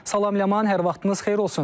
Salam Ləman, hər vaxtınız xeyir olsun.